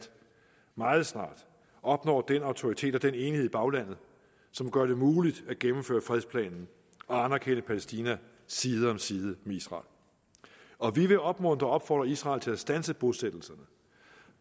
meget snart opnår den autoritet og den enighed i baglandet som gør det muligt at gennemføre fredsplanen og anerkende palæstina side om side med israel og vi vil opmuntre og opfordre israel til at standse bosættelserne